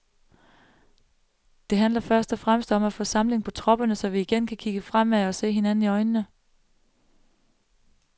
Det handler først og fremmest om at få samling på tropperne, så vi igen kan kigge fremad og se hinanden i øjnene.